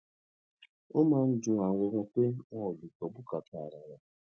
ó máa ń dùn wón ganan pé àwọn ò lè gbó bùkátà ara wọn